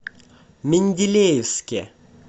менделеевске